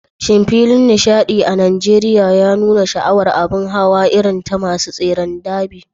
Shin filin nishaɗi a Najeriya ya nuna sha'awar a abun hawa irin ta masu tseren darby?